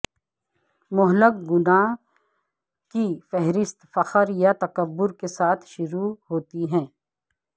مہلک گناہ کی فہرست فخر یا تکبر کے ساتھ شروع ہوتی ہے